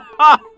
Ah!